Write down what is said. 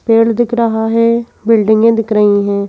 पेड़ दिख रहा है बिल्डिंगें दिख रही हैं।